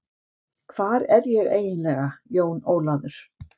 Hvar er ég eiginlega, Jón Ólafur?